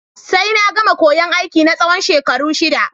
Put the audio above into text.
Sai na gama koyan aiki na tsawon shekaru shida